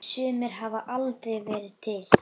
Sumir hafa aldrei verið til.